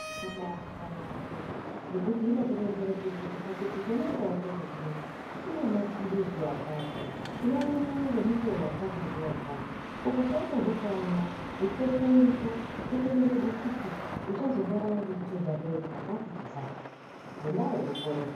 Yakabaanaka yaambo ngekuti inokonzera kuti chipakiti chona chawatenga chinechi chine maphilizi akati, unoamwa ngemukuwo wakati ngewakati. Ukashaishazve kuamwa, muteto iripo wotoronzerwe kuti uchazorwara ngechitendazve chakati-chakati, ngendaa yekukorera.